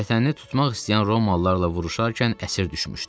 Vətənini tutmaq istəyən Romalılarla vuruşarkən əsir düşmüşdü.